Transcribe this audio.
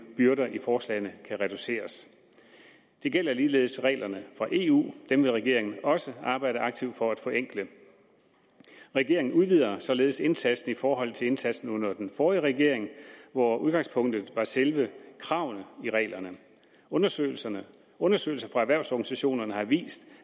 byrder i forslagene kan reduceres det gælder ligeledes reglerne fra eu dem vil regeringen også arbejde aktivt for at forenkle regeringen udvider således indsatsen i forhold til indsatsen under den forrige regering hvor udgangspunktet var selve kravene i reglerne undersøgelser undersøgelser fra erhvervsorganisationerne har vist